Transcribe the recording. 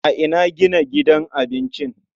A ina gina gidan abincin?